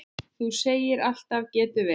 Þú segir alltaf getur verið!